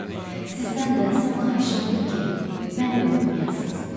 Sizdən də son xahişim budur ki, məni unutmayasınız.